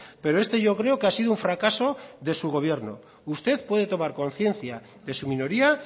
pero este yo creo que ha sido un fracaso de su gobierno usted puede tomar conciencia de su minoría